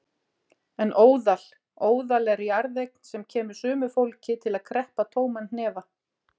En óðal. óðal er jarðeign sem kemur sumu fólki til að kreppa tóman hnefa.